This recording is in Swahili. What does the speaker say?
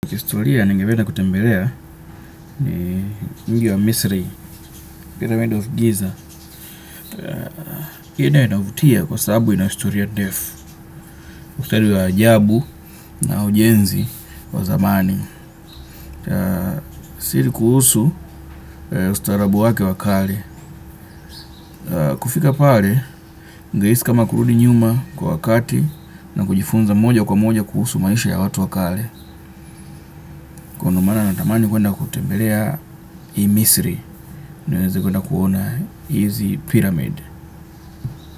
Kihistoria nengependa kutembelea mji wa Misri, Pyramid of Giza. Ino inavutia kwa sababu ina historia ndefu. Wa ajabu na ujenzi wa samani Sidi kuhusu ustarabu wake wa kale. Kufika pale, ni rahisi kama kurudi nyuma kwa wakati na kujifunza moja kwa moja kuhusu maisha ya watu wa kale. Na ndo maana natamani kwenda kutembelea hii Misri. Niweze kwenda kuona hizi pyramid.